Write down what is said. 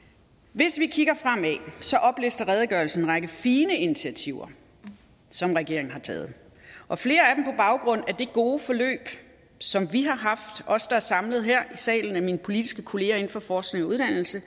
hvis vi kigger fremad oplister redegørelsen en række fine initiativer som regeringen har taget og flere af baggrund af det gode forløb som vi os der er samlet her i salen af mine politiske kollegaer inden for forskning og uddannelse